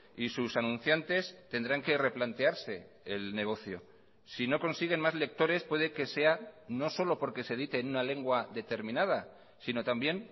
y sus anunciantes tendrán que replantearse el negocio si no consiguen más lectores puede que sea no solo porque se edite en una lengua determinada sino también